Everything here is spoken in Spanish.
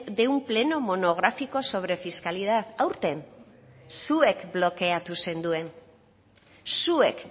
de un pleno monográfico sobre fiscalidad aurten zuek blokeatu zenduen zuek